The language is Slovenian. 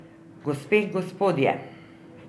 Gospe in gospodje.